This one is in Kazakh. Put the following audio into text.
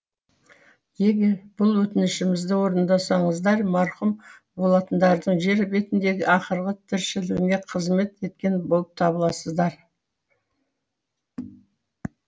егер бұл өтінішімізді орындасаңыздар марқұм болатындардың жер бетіндегі ақырғы тіршілігіне қызмет еткен болып табыласыздар